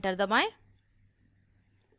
enter दबाएं